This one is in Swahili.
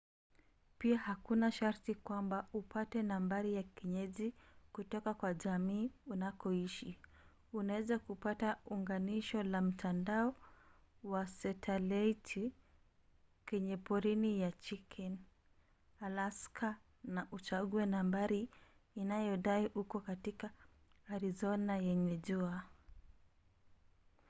pia hakuna sharti kwamba upate nambari ya kienyeji kutoka kwa jamii unakoishi; unaweza kupata unganisho la mtandao wa satelaiti kwenye porini ya chicken alaska na uchague nambari inayodai uko katika arizona yenye jua